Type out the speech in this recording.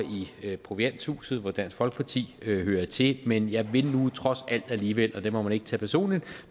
i provianthuset hvor dansk folkeparti hører til men jeg vil nu trods alt alligevel og det må man ikke tage personligt